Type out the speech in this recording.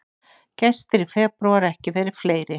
Gestir í febrúar ekki verið fleiri